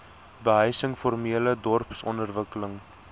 behuising formele dorpsontwikkeling